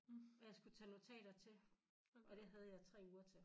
Og jeg skulle tage notater til og det havde jeg 3 uger til